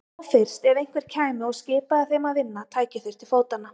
Þá fyrst, ef einhver kæmi og skipaði þeim að vinna, tækju þeir til fótanna.